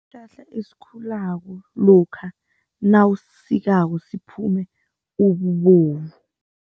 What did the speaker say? Sihlahla esikhulako lokha nawusisikako kuphume ububovu.